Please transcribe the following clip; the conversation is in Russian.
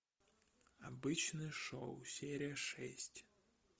обычное шоу серия шесть